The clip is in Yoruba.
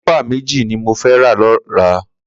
Klipà méji ni mó fẹ̀ rà lọrá